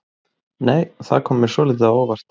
Nei! Það kom mér svolítið á óvart!